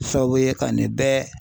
Sababu ye ka nin bɛɛ